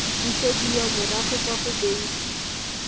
busediwa morago kwa go beng